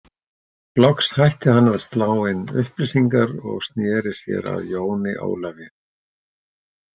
Loks hætti hann að slá inn upplýsingar og sneri sér að Jóni Ólafi.